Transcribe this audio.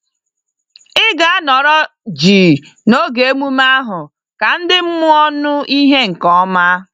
Ị ga-anọrọ jii n'oge emume ahụ ka ndị mmụọ nụ ìhè nke ọma.